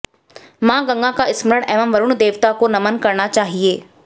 माँ गंगा का स्मरण एवं वरुण देवता को नमन करना चाहिए